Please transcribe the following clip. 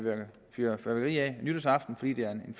fyrværkeri af nytårsaften fordi det er en